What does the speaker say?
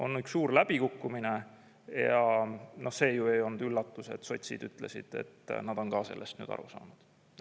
On üks suur läbikukkumine ja see ei olnud üllatus, et sotsid ütlesid, et nad on ka sellest nüüd aru saanud.